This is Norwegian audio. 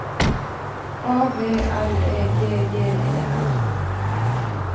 A V L E G G E R